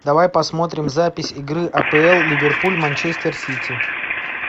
давай посмотрим запись игры апл ливерпуль манчестер сити